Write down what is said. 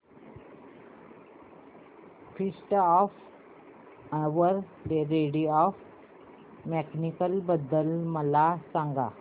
feast of Our Lady of Miracles बद्दल मला सांगा